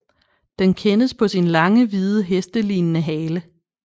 Den kendes på sin lange hvide hestelignende hale